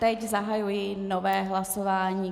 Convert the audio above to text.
Teď zahajuji nové hlasování.